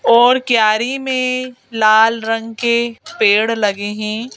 और क्यारी में लाल रंग के पेड़ लगे हैं।